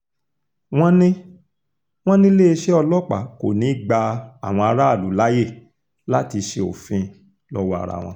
wọ́n ní wọ́n ní iléeṣẹ́ ọlọ́pàá kò ní í gba àwọn aráàlú láàyè láti ṣe òfin lọ́wọ́ ara wọn